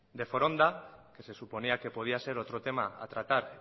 de foronda que se suponía que podría ser otro tema a tratar